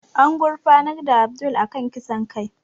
An gurfanar da Abdul a kan kisan kai